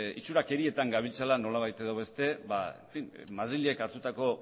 itxurakeriatan gabiltzala nolabait edo beste madrilek hartutako